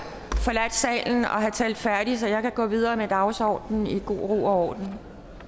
forladt salen og have talt færdig så jeg kan gå videre med dagsordenen i god ro og